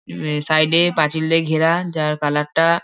হু side -এ পাঁচিল দিয়ে ঘেরা যার কালার টা।